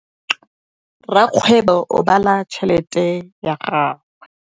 Rakgwêbô o bala tšheletê ya gagwe.